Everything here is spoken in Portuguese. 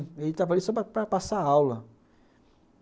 Ele estava ali só para passar aula.